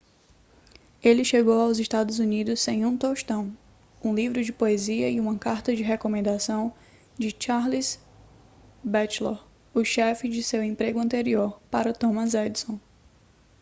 ele chegou aos estados unidos sem um tostão um livro de poesia e uma carta de recomendação de charles batchelor o chefe de seu emprego anterior para thomas edison